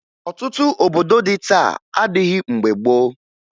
Ọtụtụ obodo dị taa adịghị mgbe gboo